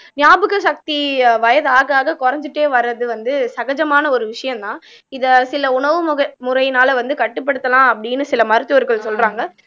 ஞாபக சக்தி வயது ஆக ஆக குறைஞ்சிட்டே வர்றது வந்து சகஜமான ஒரு விஷயம்தான் இத சில உணவு மு முறையினால வந்து கட்டுப்படுத்தலாம் அப்படின்னு சில மருத்துவர்கள் சொல்றாங்க